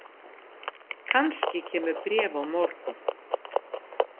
Kannski kemur bréf á morgun.